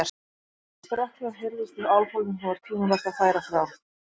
Þegar strokkhljóð heyrðist í álfhólnum, þá var tímabært að færa frá.